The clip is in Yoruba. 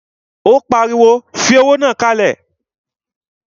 Ó pariwo, fi owó náà kalẹ̀!